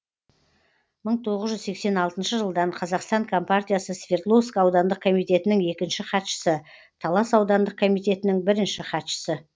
мың тоғыз жүз сексен алтыншы жылдан қазақстан компартиясы свердловск аудандық комитетінің екінші хатшысы талас аудандық комитетінің бірінші хатшысы